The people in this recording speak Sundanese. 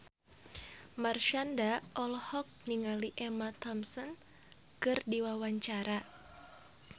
Marshanda olohok ningali Emma Thompson keur diwawancara